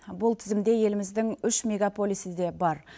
бұл тізімде еліміздің үш мегаполисі де бар